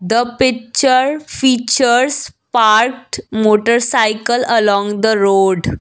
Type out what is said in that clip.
the picture features parked motorcycle along the road.